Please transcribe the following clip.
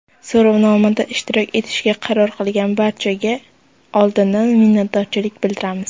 So‘rovnomada ishtirok etishga qaror qilgan barchaga oldindan minnatdorchilik bildiramiz.